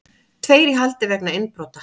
Tveir í haldi vegna innbrota